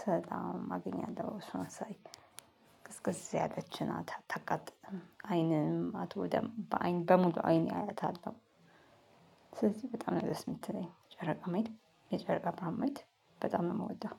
ስወጣ አገኛለው እሷን ሳይ ቅዝቅዝ ያለች ናት አታቃጥልም አይንም አትጐዳም በአይን በሙሉ አይኔ አያታለው ነው። ስለዚህ በጣም ነው ደስ የምትለኝ ጨረቃ ማየት የጨረቃ ብርሃን ማየት በጣም ነው የምወደው።